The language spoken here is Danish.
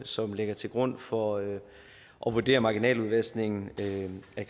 som ligger til grund for at vurdere marginaludvaskningen af